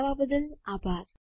જોડાવા બદ્દલ આભાર